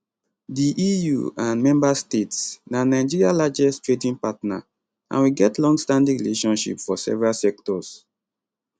di eu and member states na nigeria largest trading partner and we get longstanding relationship for several sectors